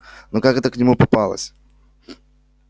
но как эта к нему попалась